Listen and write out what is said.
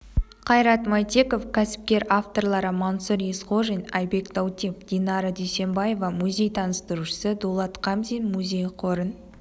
қайрат мәйтеков кәсіпкер авторлары мансұр есқожин айбек даутов динара дүйсенбаева музей таныстырушысы дулат хамзин музей қорын